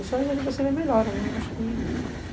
O sonho é de você ver melhora, né? Acho que